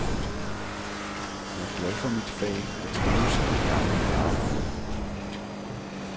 Jeg er glad for mit fag og trives i det daglige arbejde.